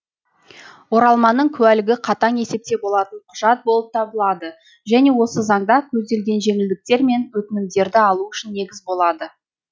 оралманның куәлігі қатаң есепте болатын құжат болып табылады және осы заңда көзделген жеңілдіктер мен өтінімдерді алу үшін негіз болады